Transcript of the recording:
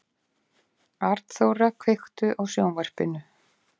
Arnþóra, kveiktu á sjónvarpinu.